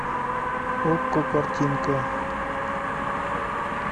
окко картинка